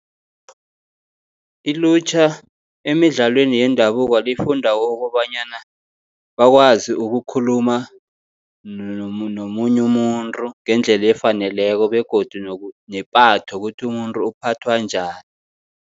Ilutjha emidlalweni yendabuko lifunda ukobanyana, bakwazi ukukhuluma nomunye umuntu ngendlela efaneleko begodu nepatho, kuthi umuntu uphathwa njani.